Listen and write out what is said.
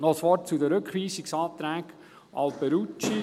Noch ein Wort zu den Rückweisungsanträgen Alberucci.